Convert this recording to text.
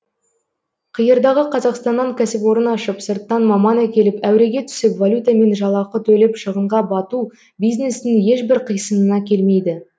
қиырдағы қазақстаннан кәсіпорын ашып сырттан маман әкеліп әуреге түсіп валютамен жалақы төлеп шығынға бату бизнестің ешбір қисынына келмейді